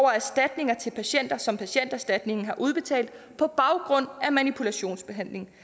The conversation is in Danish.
erstatninger til patienter som patienterstatningen har udbetalt på baggrund af manipulationsbehandling